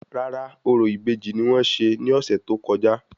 Rárá, orò ìbejì ni wọ́n ṣe ní ọ̀sẹ̀ tó kọjá